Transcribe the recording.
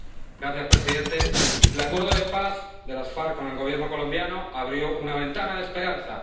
Señor presidente, el acuerdo de paz de las FARC con el Gobierno colombiano abrió una ventana de esperanza.